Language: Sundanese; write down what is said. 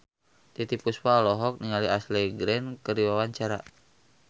Titiek Puspa olohok ningali Ashley Greene keur diwawancara